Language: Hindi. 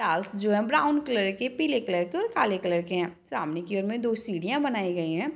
टाइल्स जो हैं ब्राउन कलर के पीले कलर के और काले कलर के हैं सामने की ओर में दो सीढ़ियाँ बनाई गई हैं।